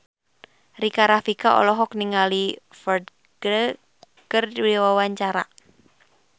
Rika Rafika olohok ningali Ferdge keur diwawancara